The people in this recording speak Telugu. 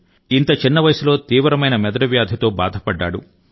కెలెన్సాంగ్ ఇంత చిన్న వయసులో తీవ్రమైన మెదడు వ్యాధితో బాధపడ్డాడు